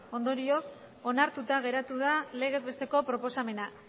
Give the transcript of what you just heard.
ondorioz onartuta geratu da legezbesteko proposamena